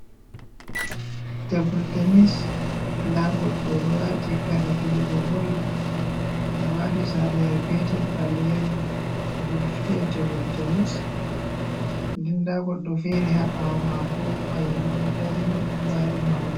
Tebul tenis. Nda goɗɗo oɗo wati kare fijugo bol, odo wati sarlayel petel, baleyel. Oɗo fiya tebul tenis nedn nda goɗɗo fere haɓawo mako, kayumbo ɗo dari ɗo ɓari mahol.